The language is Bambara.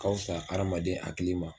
Ka fisa adamaden hakili ma.